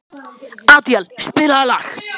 Adíel, spilaðu lag.